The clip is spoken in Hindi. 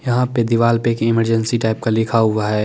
यहा पे दीवाल पे इमरजेंसी टाइप का लिखा हुआ है ।